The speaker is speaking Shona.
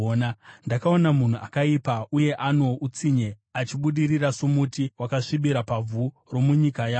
Ndakaona munhu akaipa uye ano utsinye achibudirira somuti wakasvibira pavhu romunyika yawo,